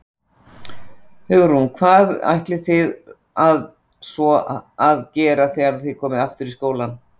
Hugrún: Hvað ætlið þið að svo að gera þegar þið komið aftur í skólann?